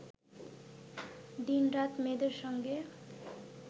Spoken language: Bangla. দিনরাত মেয়েদের সঙ্গে